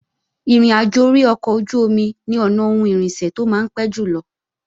Ìrìnàjò orí ọkọ̀ ojú-omi ni ọ̀nà ohun irinṣẹ́ tó máa ń pé jùlọ